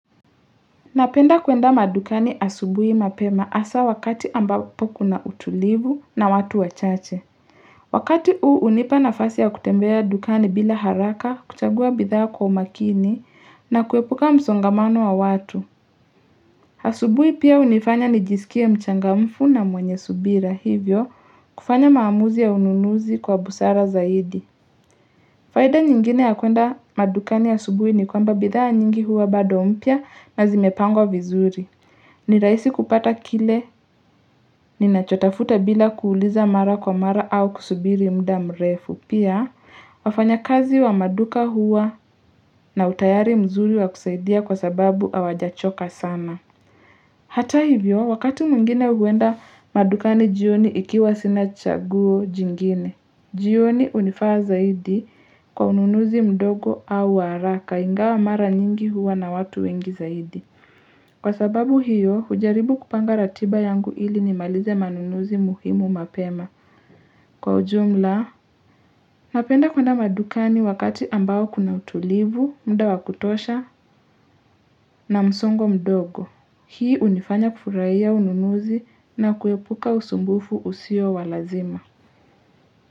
Napenda kuenda madukani asubuhi mapema asa wakati ambapo kuna utulivu na watu wachache Wakati huu unipa nafasi ya kutembea dukani bila haraka kuchagua bidhaa kwa makini na kuepuka msongamano wa watu asubuhi pia unifanya nijisikie mchangamfu na mwenye subira hivyo kufanya maamuzi ya ununuzi kwa busara zaidi faida nyingine ya kuenda madukani asubuhi ni kwamba bidhaa nyingi huwa bado mpya nazimepangwa vizuri ni rahisi kupata kile, ni nachotafuta bila kuuliza mara kwa mara au kusubiri mda mrefu. Pia, wafanya kazi wa maduka huwa na utayari mzuri wa kusaidia kwa sababu hawajachoka sana. Hata hivyo, wakati mwngine huenda maduka ni jioni ikiwa sina chaguo jingine. Jioni unifaa zaidi kwa ununuzi mdogo au wa haraka ingawa mara nyingi huwa na watu wengi zaidi. Kwa sababu hiyo, ujaribu kupanga ratiba yangu hili nimalize manunuzi muhimu mapema. Kwa ujumla, napenda kuenda madukani wakati ambao kuna utulivu, mda wa kutosha na msongo mdogo. Hii unifanya kufurahia ununuzi na kuepuka usumbufu usio wa lazima.